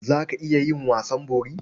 Za ka iya yin wasan bori?